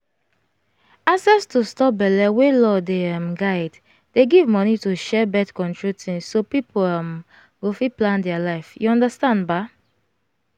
access to stop belle wey law dey um guide dey give money to share birth-control things so people um go fit plan their life you understand um?